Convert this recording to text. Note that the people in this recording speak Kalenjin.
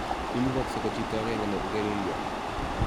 Imugaksei ko chito agenge ne ngelelyo